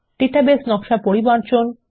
database নকশা পরিমার্জন